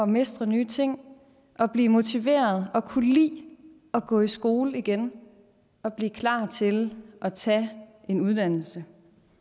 mestre nye ting og blive motiveret og kunne lide at gå i skole igen og blive klar til at tage en uddannelse